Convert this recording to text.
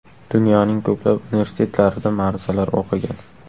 Dunyoning ko‘plab universitetlarida ma’ruzalar o‘qigan.